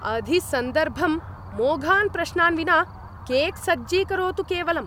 अधिसन्दर्भं मोघान् प्रश्नान् विना केक् सज्जीकरोतु केवलम्।